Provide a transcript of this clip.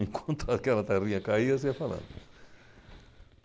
Enquanto aquela tarrinha caía, você ia falando.